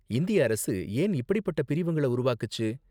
இந்திய அரசு ஏன் இப்படிப்பட்ட பிரிவுங்கள உருவாக்குச்சு?